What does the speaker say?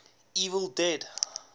evil dead